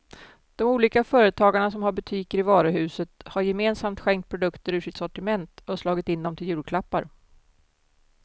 De olika företagarna som har butiker i varuhuset har gemensamt skänkt produkter ur sitt sortiment och slagit in dem till julklappar.